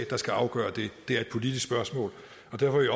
der skal afgøre det det er et politisk spørgsmål